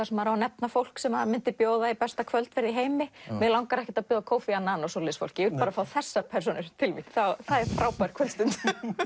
sem maður á að nefna fólk sem maður myndi bjóða í besta kvöldverð í heimi mig langar ekkert að bjóða Kofi annan og svoleiðis fólki ég vil fá þessar persónur til mín það er frábær kvöldstund